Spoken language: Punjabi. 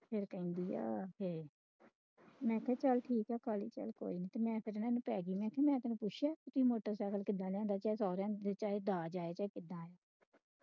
ਫੇਰ ਕਹਿੰਦੀ ਆ ਕੇ ਮੈਂ ਕਿਹਾ ਚਲ ਠੀਕ ਆ ਮੈਂ ਤੈਨੂੰ ਪੁੱਛਿਆ ਕਿ ਮੋਟਰ ਸਾਈਕਲ ਕਿੱਦਾਂ ਲਿਆਂਦਾ ਜਾਂ ਸੋਹਰਿਆਂ ਨੇ ਦਿੱਤਾ ਜਾਂ ਦਾਜ ਆਇਆ ਤੁਹਾਡੇ